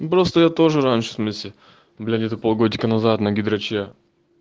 просто я тоже раньше смеси был где то пол годика назад на гидраче